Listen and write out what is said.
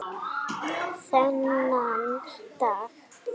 Þennan dag.